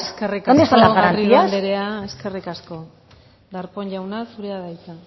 dónde están las garantías eskerrik asko garrido anderea eskerrik asko darpón jauna zurea da hitza